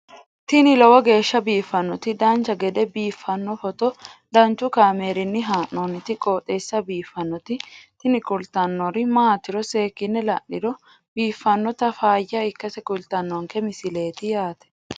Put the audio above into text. tini lowo geeshsha biiffannoti dancha gede biiffanno footo danchu kaameerinni haa'noonniti qooxeessa biiffannoti tini kultannori maatiro seekkine la'niro biiffannota faayya ikkase kultannoke misileeti yaate